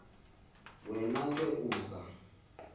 wena ke uza